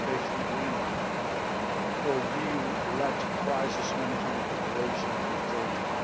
Participation Agreement for EU led crisis management operations with Georgia